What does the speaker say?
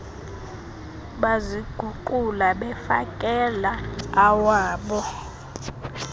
baziguqula befakela awabo